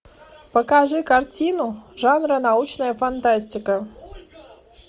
покажи картину жанра научная фантастика